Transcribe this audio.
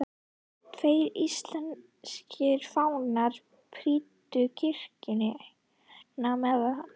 Tveir íslenskir fánar prýddu kirkjuna meðan